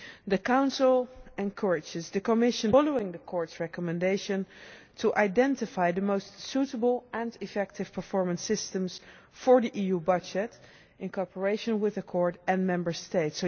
The Council encourages the Commission, following the Court's recommendation, to identify the most suitable and effective performance systems for the EU budget in cooperation with the Court and Member States.